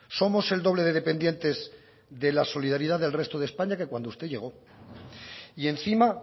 somos el doble de dependientes de la solidaridad del resto de españa que cuando usted llegó y encima